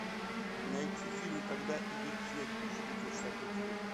найти фильм когда идет снег тысяча девятьсот шестьдесят третий год